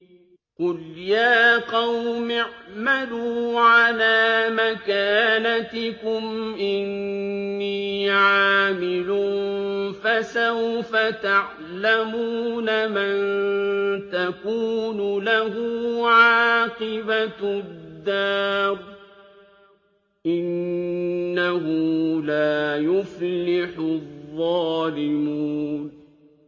قُلْ يَا قَوْمِ اعْمَلُوا عَلَىٰ مَكَانَتِكُمْ إِنِّي عَامِلٌ ۖ فَسَوْفَ تَعْلَمُونَ مَن تَكُونُ لَهُ عَاقِبَةُ الدَّارِ ۗ إِنَّهُ لَا يُفْلِحُ الظَّالِمُونَ